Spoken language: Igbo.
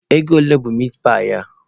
Ego ole bụ mitpaị a?